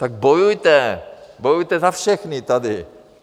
Tak bojujte, bojujte za všechny tady.